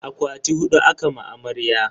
Akwati hudu aka ma amarya.